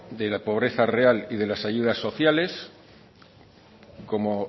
de pobreza real y de las ayudas sociales como